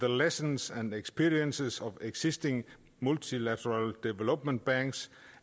lessons and experiences of existing multilateral development banks